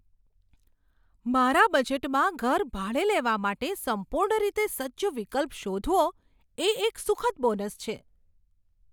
મારા બજેટમાં ઘર ભાડે લેવા માટે સંપૂર્ણ રીતે સજ્જ વિકલ્પ શોધવો, એ એક સુખદ બોનસ છે.